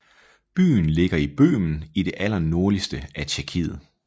Byen ligger i Bøhmen i det allernordligste af Tjekkiet